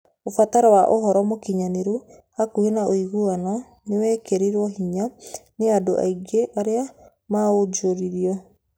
Ũbataro wa ũhoro mũgayũranĩru hakuhĩ na ũiguano nĩ wĩkĩrĩtwo hinya nĩ andũ aingĩ arĩa maanjũrirũo.